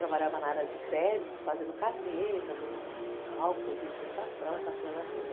Trabalhava na área de crédito, fazendo carnê, fazendo cálculo de prestação, essa coisa toda.